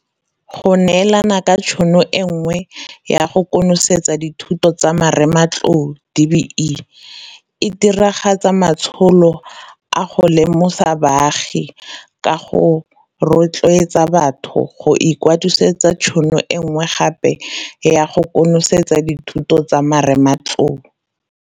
Go neelana ka tšhono e nngwe ya go konosetsa dithuto tsa marematlou DBE e diragatsa matsholo a go lemosa baagi ka go rotloetsa batho go ikwadisetsa tšhono e nngwe gape ya go konosetsa dithuto tsa marematlou.